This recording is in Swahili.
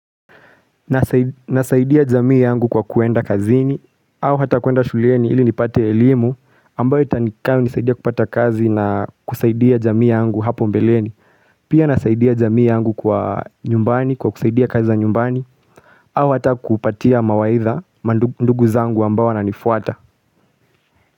Nasaidia jamii yangu kwa kuenda kazini au hata kuenda shuleni ili nipate elimu ambayo itanikam nisaidia kupata kazi na kusaidia jamii yangu hapo mbeleni Pia nasaidia jamii yangu kwa nyumbani kwa kusaidia kazi za nyumbani au hata kupatia mawaidha ma ndugu zangu ambao wananifuata.